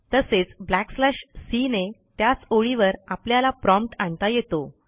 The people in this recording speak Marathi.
तसेच ब्लॅकस्लॅश सी ने त्याच ओळीवर आपल्याला प्रॉम्प्ट आणता येतो